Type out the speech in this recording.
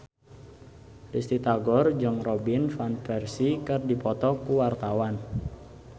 Risty Tagor jeung Robin Van Persie keur dipoto ku wartawan